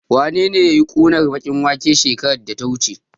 Wanene yayi ƙunar baƙin waken shekarar da ta wuce?